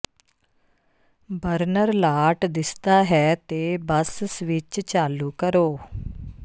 burner ਲਾਟ ਦਿਸਦਾ ਹੈ ਤੇ ਬਸ ਸਵਿੱਚ ਚਾਲੂ ਕਰੋ